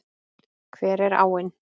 Hver er áin?